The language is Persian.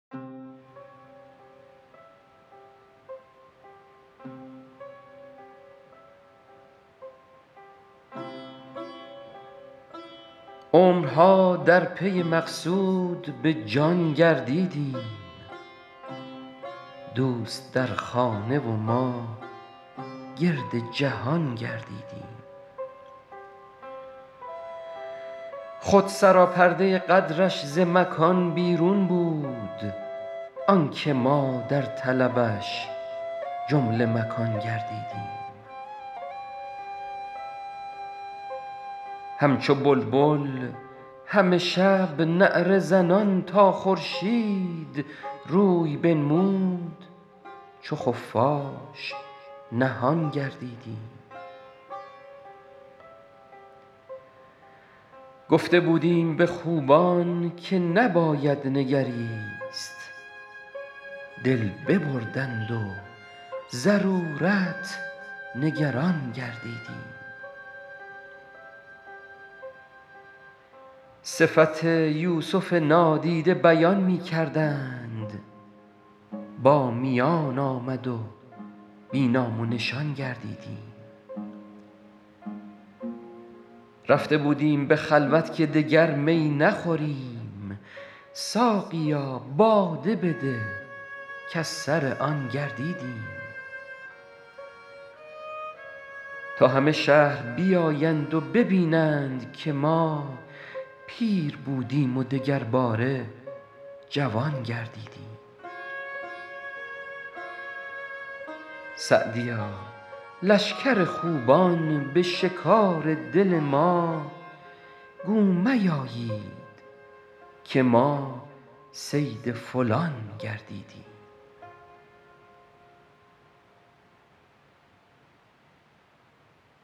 عمرها در پی مقصود به جان گردیدیم دوست در خانه و ما گرد جهان گردیدیم خود سراپرده قدرش ز مکان بیرون بود آن که ما در طلبش جمله مکان گردیدیم همچو بلبل همه شب نعره زنان تا خورشید روی بنمود چو خفاش نهان گردیدیم گفته بودیم به خوبان که نباید نگریست دل ببردند و ضرورت نگران گردیدیم صفت یوسف نادیده بیان می کردند با میان آمد و بی نام و نشان گردیدیم رفته بودیم به خلوت که دگر می نخوریم ساقیا باده بده کز سر آن گردیدیم تا همه شهر بیایند و ببینند که ما پیر بودیم و دگرباره جوان گردیدیم سعدیا لشکر خوبان به شکار دل ما گو میایید که ما صید فلان گردیدیم